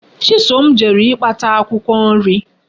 Chisom jere ikpata Akwukwo nri